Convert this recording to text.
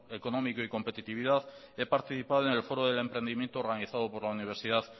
económico y competitividad he participado en el foro del emprendimiento organizado por la universidad